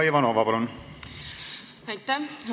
Aitäh, austatud eesistuja!